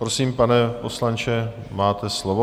Prosím, pane poslanče, máte slovo.